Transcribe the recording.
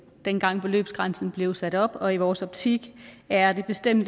dengang beløbsgrænsen blev sat op og i vores optik er der bestemt